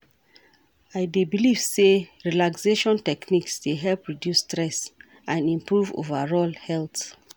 I dey believe say relaxation techniques dey help reduce stress and improve overall health.